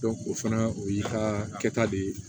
o fana o y'i ka kɛta de ye